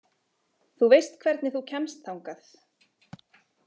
Þú veist hvernig þú kemst þangað!